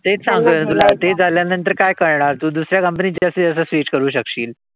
तेच सांगतोय मी तुला. तेच झाल्यानंतर काय करणार तू? दुसऱ्या company त जास्तीत जास्त switch करू शकशील.